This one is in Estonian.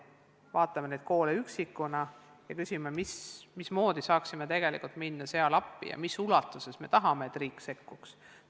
Vaatame neid koole üksikuna ja küsime, mismoodi me saaksime minna seal appi ja mis ulatuses me tahame, et riik sekkuks.